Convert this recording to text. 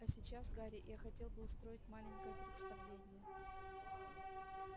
а сейчас гарри я хотел бы устроить маленькое представление